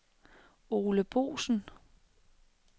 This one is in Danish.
Ole Boesen